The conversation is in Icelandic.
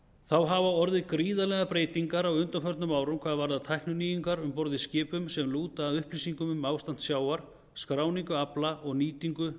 þá hafa orðið gríðarlegar breytingar á undanförnum árum hvað varðar tækninýjungar um borð í skipum sem lúta að upplýsingum um ástand sjávar skráningu afla og nýtingu